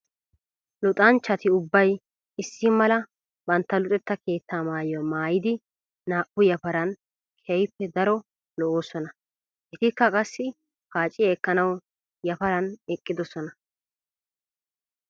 Luxanchchatti ubbay issi mala bantta luxetta keetta maayuwa maayiddi naa'u yafaran keehippe daro lo'osonna. Ettikka qassi paaciya ekkanawu yafaran eqqidosonna.